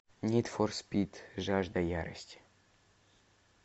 нид фор спид жажда ярости